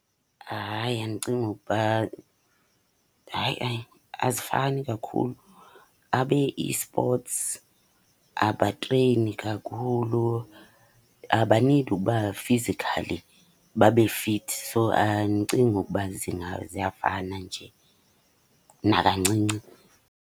Hayi, andicingi ukuba, hayi ayi azifani kakhulu. Abe eSports abatreyini kakhulu, abanidi ukuba fizikhali babe fithi. So, andicingi ukuba ziyafana nje nakancinci.